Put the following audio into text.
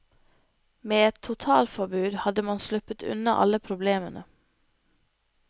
Med et totalforbud hadde man sluppet unna alle problemene.